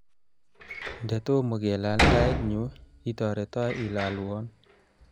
nde tomo kelal tait nyu, itoreto ilalwon